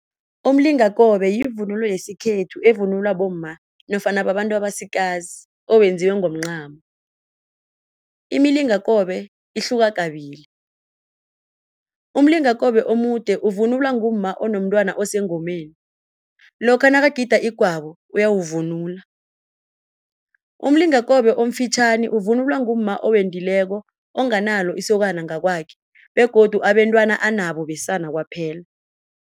Umlingakobe yivunulo yesikhethu evunulwa bomma nofana babantu abasikazi owenziwe ngomncamo. Imilingakobe ihluka kabili, umlingakobe omude uvunulwa ngumma onomtwana osengomeni lokha nakagida igwabo uyawuvunula, umlingakobe omfitjhani ukuvunulwa ngumma owendileko ongenalo isokana ngokwakhe begodu abentwana anabo besana kwaphela.